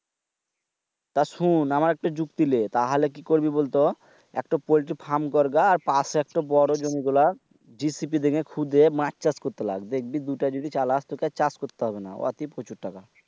তা শুন আমার একটা যুক্তি দে কি করবি বল তো? একটা পল্টি ফার্ম করবি তার পাশে একটা বড় জমি গুলা GCP থেকে খুদে মাছ চাষ করে রাখ। দেখবি দুইটা যদি চালাস তো চাষ করতি হবেনা। ওতে